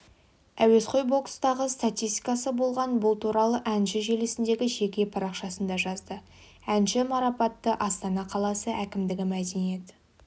әуесқой бокстағы статистикасы болған бұл туралы әнші желісіндегі жеке парақшасында жазды әнші марапаттыастана қаласы әкімдігі мәдениет